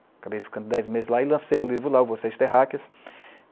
Acabei ficando dez meses lá e lancei o livro lá, Vocês Terráqueas